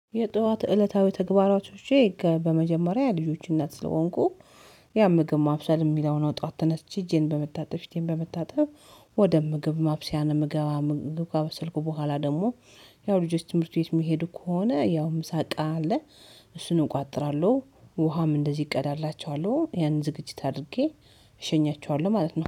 የጧት እለታዊ ተግባራቶቼ ከ በመጀመሪያ የልጆች እናት ስለሆንኩ ያምግም ማብሰል የሚለውን ጧት ተነስቼ እጄን በመታጠብ፣ ፊቴን በመታጠብ ወደ ምግብ ማብሰያ ነው የምገባ፤ ምግብ አበሰልኩ በኋላ ደግሞ ያው ልጆች ትምህርት ቤት የሚሄዱ ከሆነ ያው ምሳ ቃ አለ እሱን እቆጥራለሁ ውሃም እንደዚህ ይቀዳላቸዋለሁ ያን ዝግጅት አድርጌ እሸኛቸዋለሁ ማለት ነው።